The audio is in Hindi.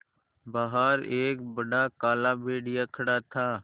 बाहर एक बड़ा काला भेड़िया खड़ा था